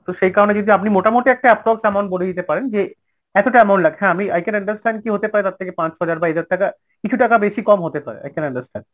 তো সেই কারণে যদি আপনি মোটামুটি একটা approx amount বলে দিতে পারেন যে এতটা amount লাগছে আমি i can understand কি হতে পারে তার থেকে পাঁচ ছয় হাজার বা হাজার টাকা কিছু টাকা বেশি কম হতে পারে, i can understand